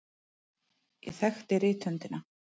Ég þekkti rithöndina.